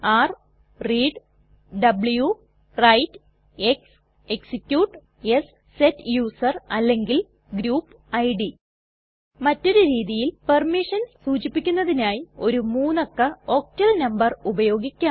r read w write x execute s set user അല്ലെങ്കിൽ group id മറ്റൊരു രീതിയിൽ permissions സൂചിപ്പിക്കുന്നതിനായി ഒരു മൂന്നക്ക ഓക്ടൽ നംബർ ഉപയോഗിക്കാം